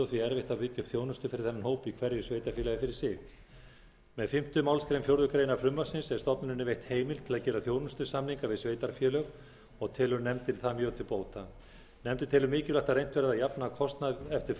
og því erfitt að byggja upp þjónustu fyrir þennan hóp í hverju sveitarfélagi fyrir sig með fimmtu málsgrein fjórðu grein frumvarpsins er stofnuninni veitt heimild til að gera þjónustusamninga við sveitarfélög og telur nefndin það mjög til bóta nefndin telur mikilvægt að reynt verði að jafna kostnað eftir